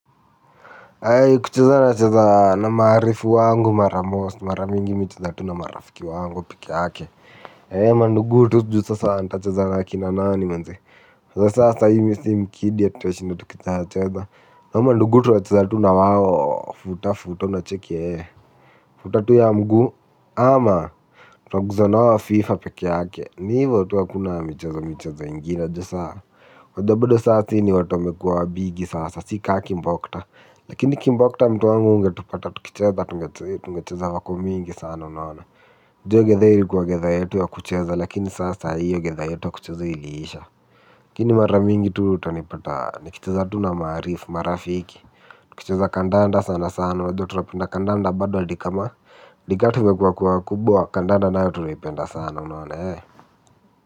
Kucheza nacheza na maarifu wangu mara most mara mingi mi hucheza tu na marafiki wangu pike yake. Eee mandugu tu juu sasa nitacheza na kina nani manze. Sasa sahii mimi si mkidi tatashinda tuki cheza cheza hao mandugu tunachezatu na tu wao futa futa unacheki ee. Futa tu ya mguu ama tuna guza nao fifa peke yake. Ni hivo tu hakuna michezo michezo ingine ju saa unajua bado saa sisi ni watu wamekua wabigi sasa si kama kimbokta. Lakini kimbokta mtu wangu ungetupata tukicheza tungecheza tungecheza vako mingi sana unaona juu hio gidhaa ilikuwa gidhaa yetu ya kucheza lakini sasa hiyo gidhaa yetu ya kucheza iliisha lakini mara mingi tu utanipata nikicheza tu na maarifu marafiki. Tukicheza kandanda sana sana unajua tunapenda kandanda bado hadi kama hadi kama tumekua kua wakubwa kandanda nayo tunaipenda sana unaona.